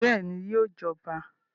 Bẹ́ẹ̀ni, yóò jọba